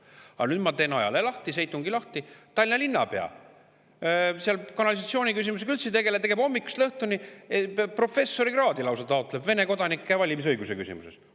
Aga nüüd ma teen ajalehe, seitungi lahti: Tallinna linnapea kanalisatsiooni küsimusega üldse ei tegele, vaid tegeleb hommikust õhtuni Vene kodanike valimisõiguse küsimusega, taotleb lausa professorikraadi selles.